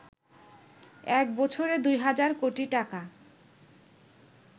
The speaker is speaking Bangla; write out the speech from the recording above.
এক বছরে ২ হাজার কোটি টাকা